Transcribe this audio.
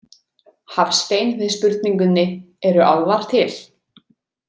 Hafstein við spurningunni Eru álfar til?